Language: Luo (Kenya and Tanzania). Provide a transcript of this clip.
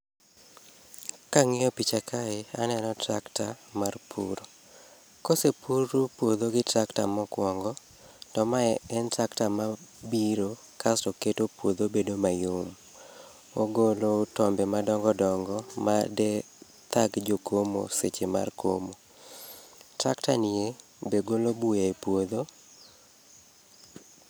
Kang'iyo picha kae aneno tractor mar pur. Kose puru puodho gi tractor mokuongo, to mae en tractor mabiro kaso keto puodho bedo mayom. Ogolo tombe madongo dongo made thag jokomo seche mar komo. Tractor nie be golo buya e puodho.